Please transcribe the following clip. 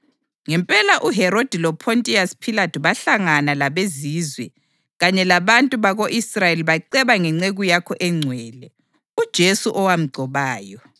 Ngempela uHerodi loPhontiyasi Philathu bahlangana labeZizwe kanye labantu bako-Israyeli baceba ngenceku yakho engcwele, uJesu owamgcobayo.